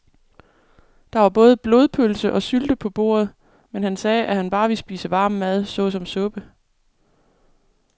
Der var både blodpølse og sylte på bordet, men han sagde, at han bare ville spise varm mad såsom suppe.